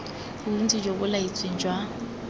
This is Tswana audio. bontsi jo bo laetsweng jwa